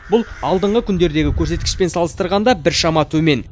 бұл алдыңғы күндердегі көрсеткішпен салыстырғанда біршама төмен